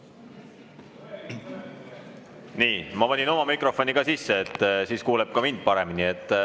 Nii, ma panin oma mikrofoni nüüd ka sisse, siis kuuleb mind paremini.